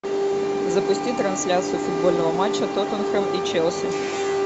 запусти трансляцию футбольного матча тоттенхэм и челси